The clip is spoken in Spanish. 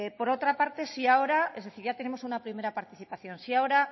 por otra parte ya tenemos una primera participación si ahora